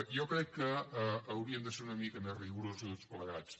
jo crec que haurien de ser una mica més rigorosos tots plegats